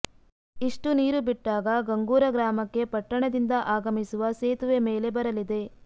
ಇಷ್ಟು ನೀರು ಬಿಟ್ಟಾಗ ಗಂಗೂರ ಗ್ರಾಮಕ್ಕೆ ಪಟ್ಟಣದಿಂದ ಆಗಮಿಸುವ ಸೇತುವೆ ಮೇಲೆ ಬರಲಿದೆ